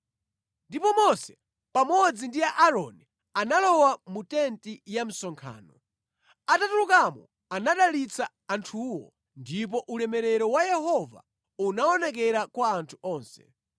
Ndipo Mose pamodzi ndi Aaroni analowa mu tenti ya msonkhano. Atatulukamo anadalitsa anthuwo ndipo ulemerero wa Yehova unaonekera kwa anthu onse.